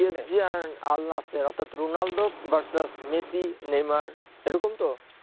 PSG আর আলনায়াসের অর্থাৎ রোনালদো versus মেসি নেইমার এরকম তো